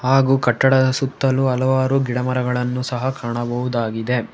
ಹಾಗು ಕಟ್ಟಡದ ಸುತ್ತಲು ಹಲವಾರು ಗಿಡಮರಗಳನ್ನು ಸಹ ಕಾಣಬಹುದಾಗಿದೆ.